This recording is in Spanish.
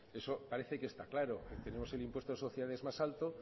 eso parece que está claro tenemos el impuesto de sociedades más alto